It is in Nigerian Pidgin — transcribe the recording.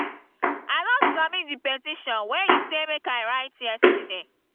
i don submit the petition wey you say make i write yesterday